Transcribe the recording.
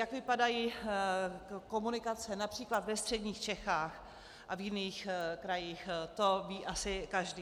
Jak vypadají komunikace například ve středních Čechách a v jiných krajích, to ví asi každý.